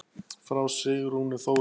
Frá Sigrúnu Þóru.